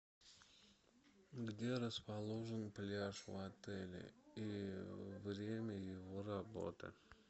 где расположен пляж в отеле и время его работы